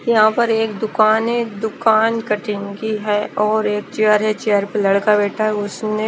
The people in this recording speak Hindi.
यहाँ पर एक दुकान है दुकान कटिंग की है और एक चेयर है चेयर पर एक लड़का बैठा है उसने--